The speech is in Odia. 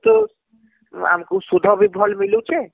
ବହୁତ ଆମକୁ ସୁଧ ବି ଭଲ ମିଲୁଛେ